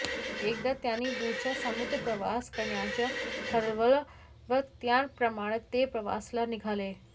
एकदा त्यांनी दूरचा समुद्र प्रवास करण्याचं ठरवलं व त्याप्रमाणे ते प्रवासाला निघाले